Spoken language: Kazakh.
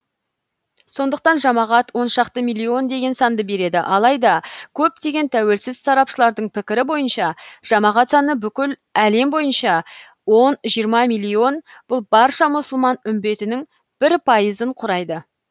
сондықтан жамағат оншақты миллион деген санды береді алайда көптеген тәуелсіз сарапшылардың пікірі бойынша жамағат саны бүкіләлем бойынша он жиырма миллион бұл барша мұсылман үмбетінің бір пайызын құрайды